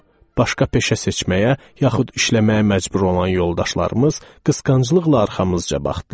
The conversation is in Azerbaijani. Başqa peşə seçməyə, yaxud işləməyə məcbur olan yoldaşlarımız qısqanclıqla arxamızca baxdılar.